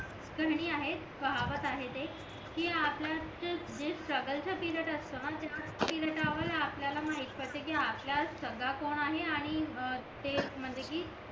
पाहवत आहे ते कि आपल्याच जे स्ट्रगल चा पिरियड असतो ना तेव्हा आपल्याला माहित पडते कि आपला कौन आहे आणि ते म्हणजे कि